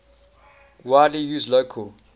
widely used local